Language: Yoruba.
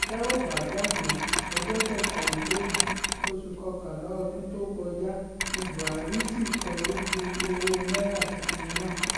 tẹ́ ò bá gbàgbé ọjọ́ kẹtàlélógún oṣù kọkànlá ọdún tó kọjá ní buhari sísọ lójú owó náírà tuntun náà